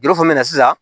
Yɔrɔ fana na sisan